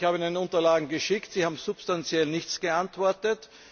Ich habe Ihnen die Unterlagen geschickt, Sie haben substanziell nichts geantwortet.